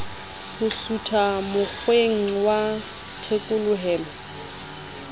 ho sutha mokgweng wa thekolohelo